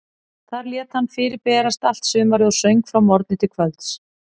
Þar lét hann fyrir berast allt sumarið og söng frá morgni til kvölds.